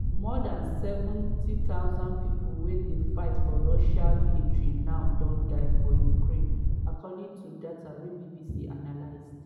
more dan 70000 pipo wey dey fight for russia military now don die for ukraine according to data wey bbc analysed.